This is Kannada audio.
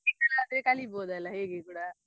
Practical ಆದ್ರೆ ಕಲಿಬೋದಲ್ಲ ಹೇಗೆ ಕೂಡ.